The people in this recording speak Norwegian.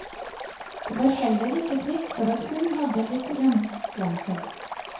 Det var heller ikke fritt for at hun hadde litt hjemlengsel.